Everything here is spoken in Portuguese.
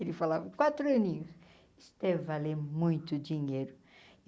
Ele falava com quatro aninhos, isso deve valer muito dinheiro.